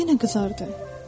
Yenə qızardır.